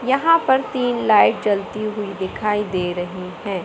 यहां पर तीन लाइट जलती हुई दिखाई दे रही है।